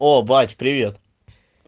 о бать привет